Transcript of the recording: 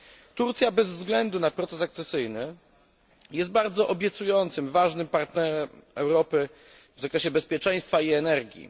Turcja bez względu na proces akcesyjny jest bardzo obiecującym, ważnym partnerem Europy w zakresie bezpieczeństwa i energii.